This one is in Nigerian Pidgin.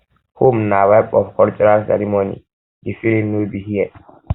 home na vibe of cultural ceremony di feeling no be here